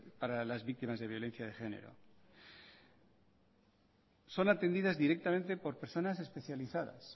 para las víctimas de violencia de género son atendidas directamente por personas especializadas